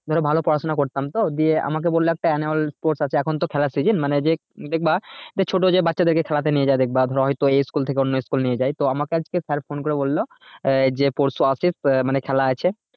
ধরো ভালো পড়াশোনা করতাম তো দিয়ে আমাকে বললো একটা annual sport আছে এখন তো খেলার season মানে যে দেখবে যে ছোট যে বাচ্চাদেরকে খেলাতে নিয়ে যায় বা ধরো হয় তো এই school থেকে অন্য school এ নিয়ে যাই তো আমাকে আজকে sir বললো আহ যেই পরশু আসিস আহ মানে খেলা আছে